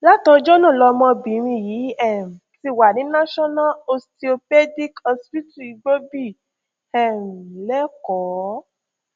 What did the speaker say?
látọjọ náà lọmọbìnrin yìí um ti wà ní national osteopaedic hospital igbòbí um lekòó